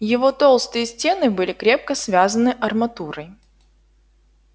его толстые стены были крепко связаны арматурой